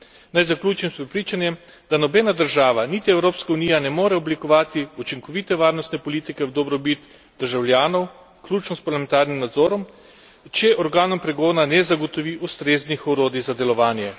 Naj zaključim s prepričanjem, da nobena država, niti Evropska unija, ne more oblikovati učinkovite varnostne politike v dobrobit državljanov, vključno s parlamentarnim nadzorom, če organom pregona ne zagotovi ustreznih orodij za delovanje.